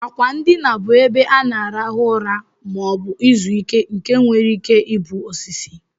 Akwa ndina bu ebe ana alarụ ụra ma obu izu ike nke nwere ike ibu osisi.